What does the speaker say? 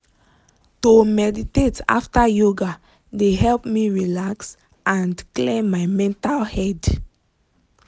to meditate after yoga de help me relax and clear my mental head.